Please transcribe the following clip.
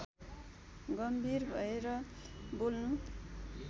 गम्भीर भएर बोल्नु